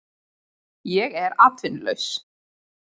Ég er atvinnulaus